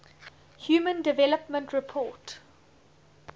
human development report